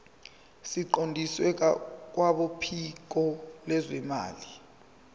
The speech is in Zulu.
siqondiswe kwabophiko lwezimali